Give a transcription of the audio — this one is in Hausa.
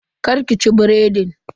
Kar ki ci biredin.